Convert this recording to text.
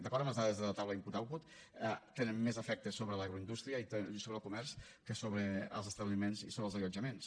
d’acord amb les dades de la taula input output tenen més efecte sobre l’agroindústria i sobre el comerç que sobre els establiments i sobre els allotjaments